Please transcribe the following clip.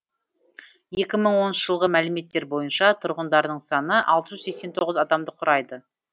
екі мың оныншы жылғы мәліметтер бойынша тұрғындарының саны алты жүз сексен тоғыз адамды құрайды